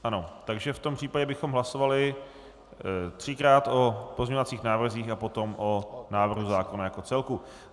Ano, takže v tom případě bychom hlasovali třikrát o pozměňovacích návrzích a potom o návrhu zákona jako celku.